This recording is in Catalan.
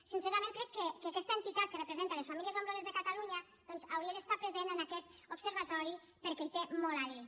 sincerament crec que aquesta entitat que representa les famílies nombroses de catalunya doncs hauria d’estar present en aquest observatori perquè hi té molt a dir